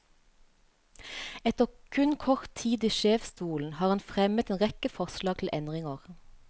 Etter kun kort tid i sjefsstolen har han fremmet en rekke forslag til endringer.